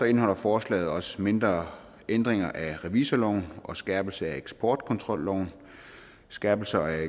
indeholder forslaget også mindre ændringer af revisorloven og skærpelse af eksportkontrolloven skærpelse af